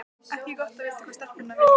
Ekki gott að vita hvað stelpurnar vildu.